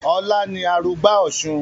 Ọlá ni arugbá òsun